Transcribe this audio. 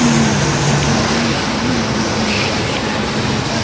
উম ATM. এর সামনে অনেক মানুষ লাইন দিয়ে দাঁড়িয়ে --